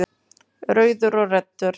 Rauður og Redda